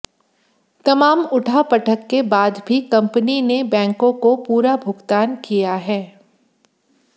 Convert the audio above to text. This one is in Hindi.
तमाम उठापटक के बाद भी कंपनी ने बैंकों को पूरा भुगतान किया है